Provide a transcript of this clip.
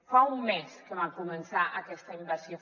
fa un mes que va començar aquesta invasió